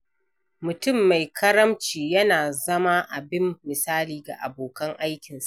Mutum mai karamci yana zama abin misali ga abokan aikinsa.